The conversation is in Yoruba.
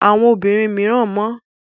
Àwọn obìnrin mìíràn mọ́.